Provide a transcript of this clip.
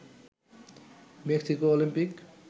Mexico Olympic